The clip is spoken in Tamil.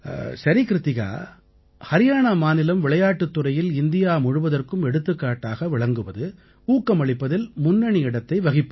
சரி க்ருத்திகா ஹரியாணா மாநிலம் விளையாட்டுத் துறையில் இந்தியா முழுவதற்கும் எடுத்துக்காட்டாக விளங்குவது ஊக்கமளிப்பதில் முன்னணி இடத்தை வகிப்பது